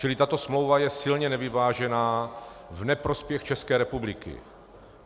Čili tato smlouva je silně nevyvážená v neprospěch České republiky.